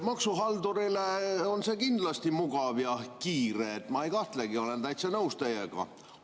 Maksuhaldurile on see kindlasti mugav ja kiire viis, ma ei kahtlegi, olen täitsa nõus teiega.